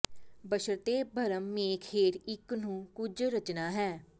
ਬਸ਼ਰਤੇ ਭਰਮ ਮੇਖ ਹੇਠ ਇੱਕ ਨੂੰ ਕੁਝ ਰਚਨਾ ਹੈ